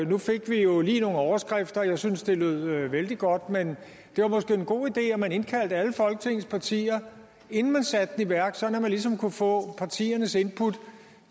nu fik vi jo lige nogle overskrifter jeg synes det lød vældig godt men det var måske en god idé at man indkaldte alle folketingets partier inden man satte i værk sådan at man ligesom kunne få partiernes input